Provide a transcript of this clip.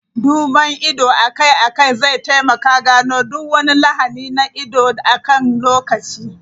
Duban ido akai-akai zai taimaka gano duk wani lahani na ido akan lokaci.